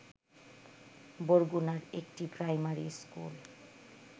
বরগুনার একটি primary school